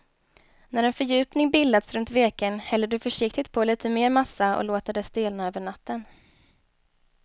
När en fördjupning bildats runt veken häller du försiktigt på lite mer massa och låter det stelna över natten.